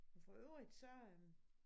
Men for øvrigt så øh